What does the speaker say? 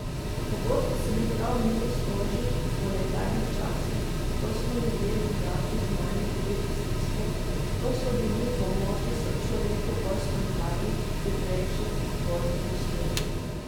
Pogosto se mi prav milo stoži po nekdanjih časih, ko smo ljudje drugače znali videti stisko, ko smo bili v pomoči sočloveku bolj spontani, hitrejši, bolj neposredni.